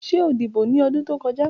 Ṣe o dibo ni ọdun to kọja?